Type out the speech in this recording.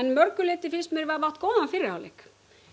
mörgu leyti átt góðan fyrri hálfleik